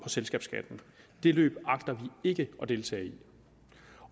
selskabsskatten det løb agter vi ikke at deltage i